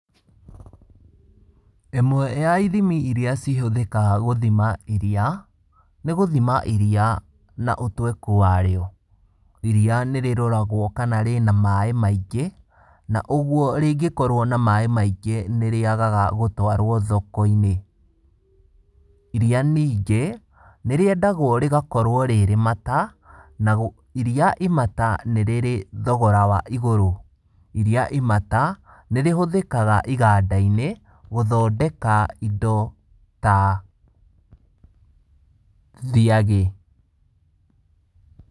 Ĩmwe ya ithimi iria cihũthĩkaga gũthima iria nĩ gũthima iria na ũtweku wa rĩo, iria nĩ rĩroragwo kana rĩna maĩ maingĩ na ũguo rĩngĩ korwo na maĩ maingĩ nĩ rĩagaga gũtwarwo thoko-inĩ, iria ningĩ nĩ rĩendaga gũkorwo rĩrĩ mata, iria rĩmata nĩ rĩrĩ thogora wa igũrũ, iria imata nĩ rĩhũthĩkaga iganda-inĩ gũthondeka indo ta thiagĩ.